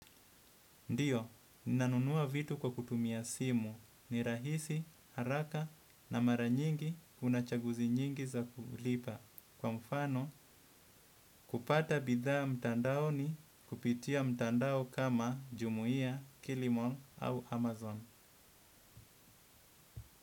Ndiyo, nanunua vitu kwa kutumia simu ni rahisi, haraka na mara nyingi kunachaguzi nyingi za kulipa. Kwa mfano, kupata bidhaa mtandao ni kupitia mtandao kama jumia, kilimall au amazon.